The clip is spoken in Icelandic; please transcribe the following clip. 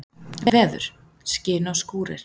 Veður: Skin og skúrir.